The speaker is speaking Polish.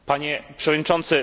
Panie Przewodniczący!